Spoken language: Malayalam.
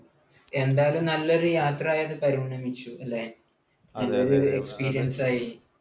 എന്തായാലും നല്ലൊരു യാത്രയായത് പരിണമിച്ചു അല്ലേ? നല്ലൊരു experience ആയി.